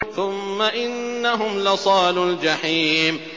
ثُمَّ إِنَّهُمْ لَصَالُو الْجَحِيمِ